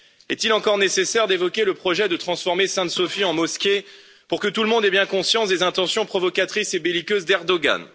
Est il encore nécessaire d'évoquer le projet de transformer Sainte Sophie en mosquée pour que tout le monde ait bien conscience des intentions provocatrices et belliqueuses d'Erdogan?